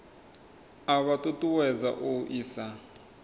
a vha ṱuṱuwedza u isa